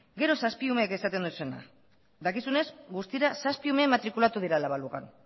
gero zazpi umeek esaten duzuena dakizunez guztira zazpi ume matrikulatu dira la balugan